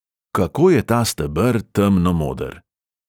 Kako je ta steber temnomoder!